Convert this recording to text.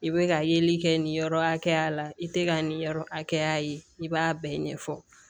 I bɛ ka yeli kɛ nin yɔrɔ hakɛya la i tɛ ka nin yɔrɔ hakɛya ye i b'a bɛɛ ɲɛfɔ